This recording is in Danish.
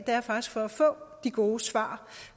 er faktisk for at få de gode svar